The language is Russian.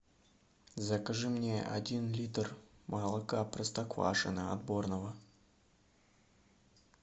закажи мне один литр молока простоквашино отборного